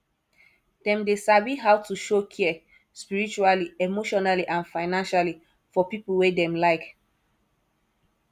dem de sabi how to show care spiritually emotionally and financially for pipo wey dem like